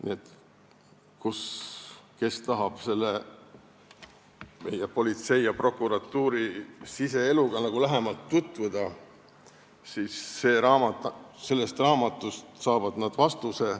Need, kes tahavad meie politsei ja prokuratuuri siseeluga lähemalt tutvuda, saavad sellest raamatust vastuse.